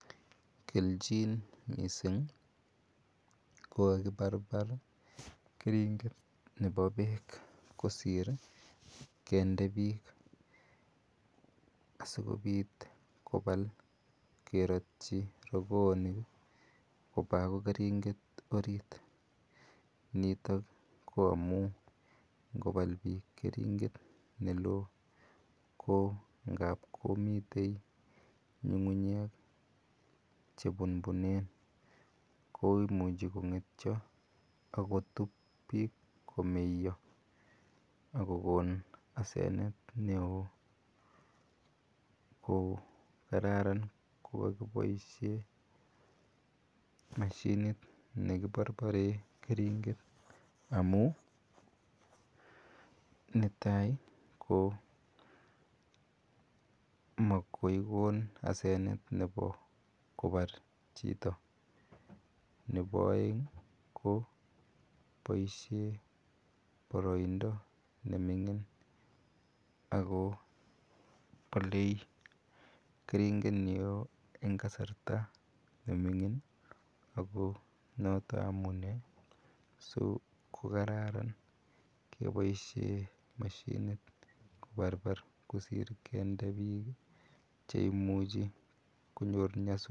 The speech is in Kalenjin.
Kelchin missing' ko kakiparpar keringet nepo peek kosir kinde piik asikopit kopal keratchi rokoonik ko akoi keringt orit. Nitok ko amu ngo pl piik keringet ne loo ko ngap komitei ng'ung'unyeek che punpunen ko imuchi kong'etia ak kotup piik komeya ak kokon asenet ne oo. Ko kararan ko kakipasie mashinit ne kiparpare keringet amu netai' ko makoi kon asenet nepo kopar chito. Nepo aeng' ko poishe paraindo ne mining' ako pale keringet ne oo eng' kasarta ne mining' ako notok amune si kokararan kepaishe mashinit keparpari kosi kinde piik che imuch konyor nyasutik.